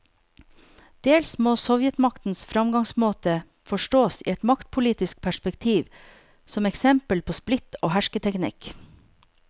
Dels må sovjetmaktens framgangsmåte forstås i et maktpolitisk perspektiv, som eksempel på splitt og hersketeknikk.